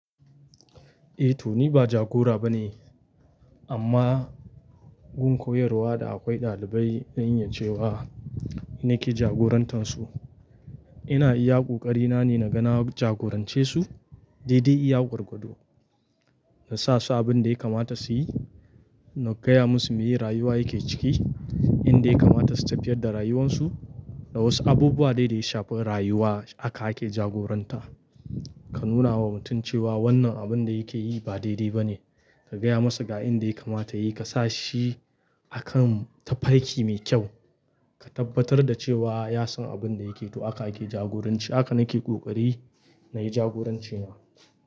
Eh to ni ba jagora ba ne, amma gun koyarwa da akwai ɗalibai zan iya cewa, ni ke jagorantar su. Ina iya ƙoƙari na ne naga na jagorance su, daidai iya gwargwado. Na sa su abin dai kamata suyi, na gaya musu me rayuwa yake ciki, inda ya kamata su tafiyar da rayuwan su, da wasu abubuwa daidai shafe rayuwa aka ake jagoranta. Ka nuna wa mutum cewa wannan abin da yake yi ba daidai ba ne, ka gaya masa ga inda ya kamata yi, ka sa shi akan tafarki mai kyau, ka tabbatar da cewa ya san abin da yake to aka ake jagoranci. Aka na ke ƙoƙari nayi jagoranci na.